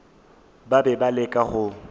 ba be ba leka go